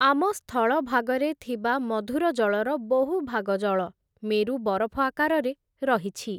ଆମ ସ୍ଥଳଭାଗରେ ଥିବା ମଧୁର ଜଳର ବହୁଭାଗ ଜଳ, ମେରୁ ବରଫ ଆକାରରେ ରହିଛି ।